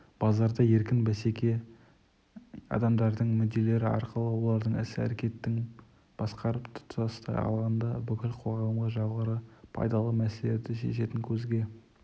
базарда еркін бәсеке адамдардың мүдделері арқылы олардың іс-әрекетін басқарып тұтастай алғанда бүкіл қоғамға жоғары пайдалы мәселелерді шешетін көзге